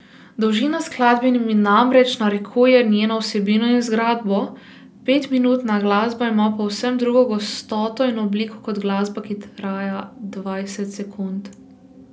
Dolžina skladbe mi namreč narekuje njeno vsebino in zgradbo, petminutna glasba ima povsem drugo gostoto in obliko kot glasba, ki traja dvajset sekund.